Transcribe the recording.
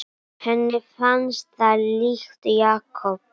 Henni fannst það líkt Jakob.